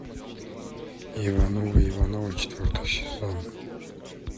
ивановы ивановы четвертый сезон